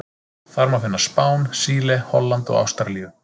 Þar má finna Spán, Síle, Holland og Ástralíu.